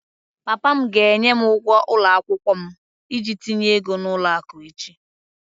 Papa m ga-enye m ụgwọ ụlọ akwụkwọ m iji tinye ego n'ụlọ akụ echi